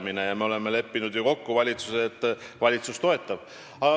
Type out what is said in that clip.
Me oleme kokku leppinud, et valitsus neid toetab.